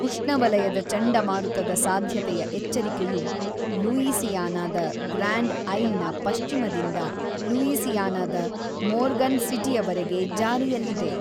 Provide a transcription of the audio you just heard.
ಉಷ್ಣವಲಯದ ಚಂಡಮಾರುತದ ಸಾಧ್ಯತೆಯ ಎಚ್ಚರಿಕೆಯು ಲೂಯಿಸಿಯಾನದ ಗ್ರ್ಯಾಂಡ್ ಐಲ್‌ನ ಪಶ್ಚಿಮದಿಂದ ಲೂಯಿಸಿಯಾನದ ಮೋರ್ಗನ್ ಸಿಟಿಯವರೆಗೆ ಜಾರಿಯಲ್ಲಿದೆ.